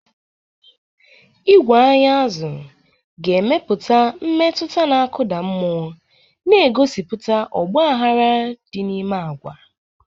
Igwe anya azụ-anya ga-emepụta mmetụta na-akụda mmụọ, na-egosipụta ọgbaghara dị n'ime agwa.